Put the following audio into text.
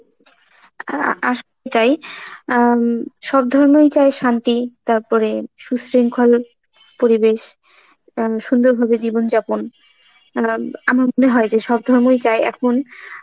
অ্যাঁ আ আসো~ তাই, আম সব ধর্মই চায় শান্তি, তারপরে সুশৃংখল পরিবেশ, উম সুন্দর ভাবে জীবন যাপন, অ্যাঁ আমার মনে হয় যে সব ধর্মই চাই এখন